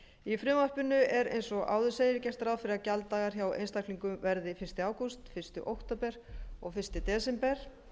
í frumvarpinu er eins og áður segir gert ráð fyrir að gjalddagar hjá einstaklingum verði fyrsta ágúst fyrsta október og fyrsta desember